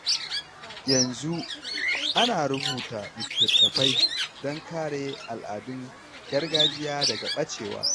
Yanzu, ana rubuta littattafai don kare al’adun gargajiya daga ɓacewa.